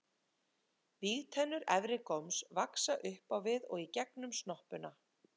Vígtennur efri góms vaxa upp á við og í gegnum snoppuna.